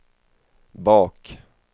bak